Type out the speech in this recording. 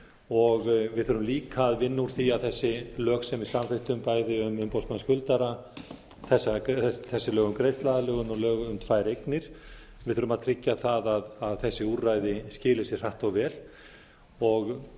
og við þurfum líka að vinna úr því að þessi lög sem við samþykktum bæði um umboðsmann skuldara þessi lög um greiðsluaðlögun og lög um tvær eignir við þurfum að tryggja að þessi úrræði skili sér hratt og vel